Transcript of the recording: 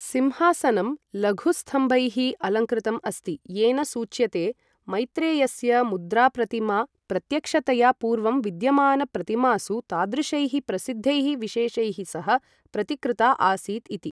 सिंहासनं लघुस्तम्भैः अलङ्कृतम् अस्ति, येन सूच्यते, मैत्रेयस्य मुद्राप्रतिमा प्रत्यक्षतया पूर्वं विद्यमानप्रतिमासु तादृशैः प्रसिद्धैः विशेषैः सह प्रतिकृता आसीत् इति।